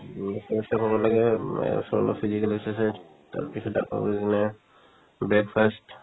শৰীৰ চৰ্চা কৰিব লাগে উম এ অলপ-চলপ physical exercise তাৰপিছত কিনে breakfast